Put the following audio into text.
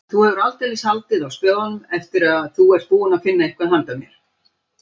Þú hefur aldeilis haldið á spöðunum ef þú ert búinn að finna eitthvað handa mér